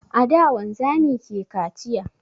A da wanzami ke kaciya